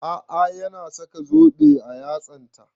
A'a ya na saka zobe a yatsan ta